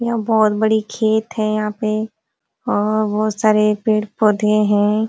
यहाँ बहुत बड़े खेत है यहाँ पे और बहुत सारे पेड़-पौधे हैं।